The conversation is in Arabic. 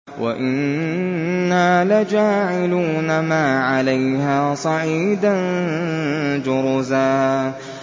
وَإِنَّا لَجَاعِلُونَ مَا عَلَيْهَا صَعِيدًا جُرُزًا